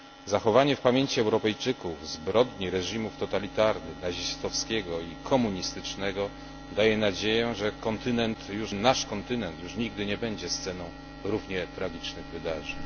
Zachowanie w pamięci Europejczyków zbrodni reżimów totalitarnych nazistowskiego i komunistycznego daje nadzieję, że ten nasz kontynent już nigdy nie będzie sceną równie tragicznych wydarzeń.